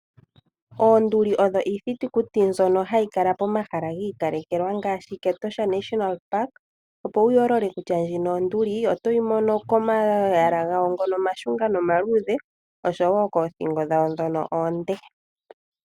Oonduli odho iithitukuti mbyono hayi kala pomahala gi ikalekelwa ngaashi moshikunino shiinamwenyo mEtosha. opo wu yoolole kutya ndjino onduli oto yi mono komayala gayo ngono omashunga nomaluudhe, oshowo koothingo dhawo ndhono oonde.